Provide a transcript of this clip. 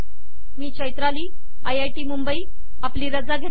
मी चैत्राली जोगळेकर आपली रजा घेते